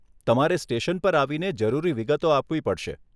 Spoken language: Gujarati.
તમારે સ્ટેશન પર આવીને જરૂરી વિગતો આપવી પડશે.